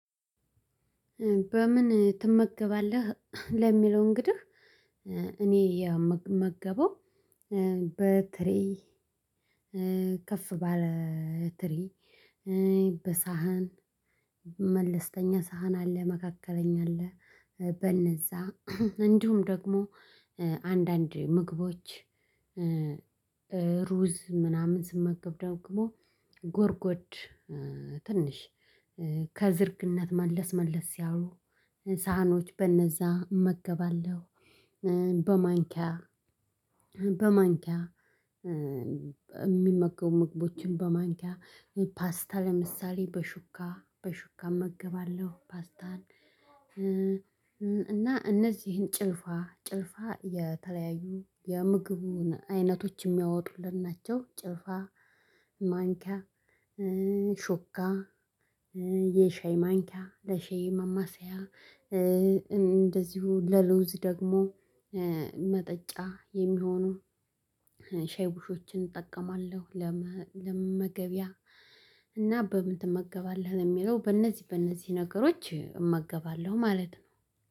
በምን ትመገባለህ? ለሚለው እንግዲህ እኔ የምመገበው በትሪ ከፍ ባለ ትሪ በሳህን መለስተኛ ሳህን አለ መካከለኛ አለ በነዛ እንዲሁም ደግሞ አንዳንድ ምግቦች ሩዝ ምናምን ስመገብ ደግሞ ጎርጎድ ትንሽ ከዝርግነት መለስ መለስ ያሉ ሳህኖች በነዛ እመገባለሁ በማንኪያ በማንኪያ የሚመገቡ ምግቦችን በማንኪያ ፓስታ ለምሳሌ በሹካ በሹካ እመገባለሁ ፓስታን እና እነዚህን ጭልፋ ጭልፋ የተለያዩ የምግቡን አይነቶች የሚያወጡልን ናቸው ጭልፋ ማንኪያ ሹካ የሻይ ማንኪያ ለሻይ ማማሰያ እንደዚሁ ለለውዝ ደግሞ መጠጫ የሚሆነው ሻይ ቡሾችን እጠቀማለሁ ለመ ለመመገቢያ እና በምን ትመገባለህ? ለሚለው በእነዚህ በእነዚህ ነገሮች እመገባለሁ ማለት ነው